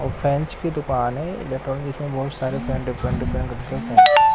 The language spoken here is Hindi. फ्रेंच की दुकान है पेट्रोल जिसमें बहुत सारे डिफरेंट डिफरेंट रखते हैं।